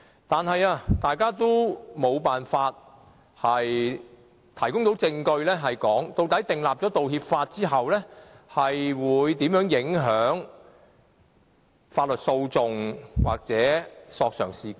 但是，大家都無法提供證據，說明制定《道歉條例》後會如何影響法律訴訟或索償事件。